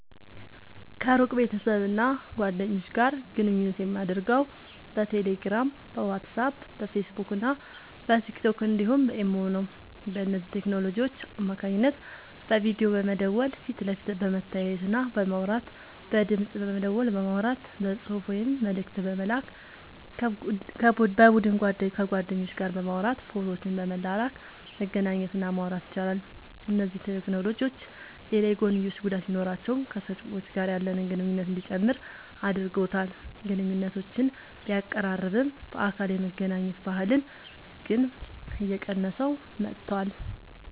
ከሩቅ ቤተሰብና ጓደኞች ጋር ግንኙነት የማደርገው በቴሌግራም፣ በዋትስአፕ፣ በፌስቡክና በቲክቶክ እንዲሁም በኢሞ ነው። በእነዚህ ቴክኖሎጂዎች አማካኝነት በቪዲዮ በመደወል ፊት ለፊት በመተያየትና በማውራት፣ በድምፅ ደወል በማውራት፣ በጽሑፍ ወይም መልእክት በመላክ፣ በቡድን ከጓደኞች ጋር በማውራት ፎቶዎችን በመላላክ መገናኘት እና ማውራት ይቻላል። እነዚህ ቴክኖሎጂዎች ሌላ የጐንዮሽ ጉዳት ቢኖራቸውም ከሰዎች ጋር ያለንን ግንኙነት እንዲጨምር አድርጎታል። ግንኙነቶችን ቢያቀራርብም፣ በአካል የመገናኘት ባህልን ግን እየቀነሰው መጥቷል።